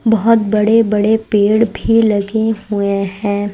बहोत बड़े बड़े पेड़ भी लगे हुए हैं।